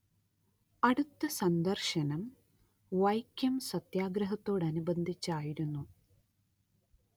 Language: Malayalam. അടുത്ത സന്ദർശനം വൈക്കം സത്യാഗ്രഹത്തോടനുബന്ധിച്ച് ആയിരുന്നു